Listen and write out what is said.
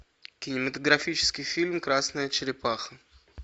кинематографический фильм красная черепаха